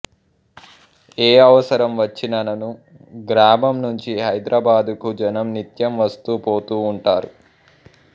ఏ అవసరం వచ్చినను గ్రామం నుంచి హైదరాబాద్కు జనం నిత్యం వస్తూ పోతూ ఉంటారు